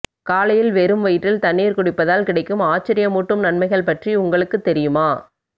காலையில் வெறும் வயிற்றில் தண்ணீர் குடிப்பதால் கிடைக்கும் ஆச்சரியமூட்டும் நன்மைகள் பற்றி உங்களுக்கு தெரியுமா